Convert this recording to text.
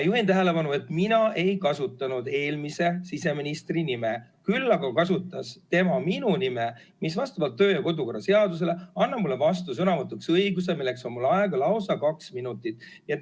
Juhin tähelepanu, et mina ei nimetanud eelmise siseministri nime, küll aga nimetas tema minu nime, mis vastavalt kodu- ja töökorra seadusele annab mulle õiguse vastusõnavõtuks, milleks on mul aega lausa kaks minutit.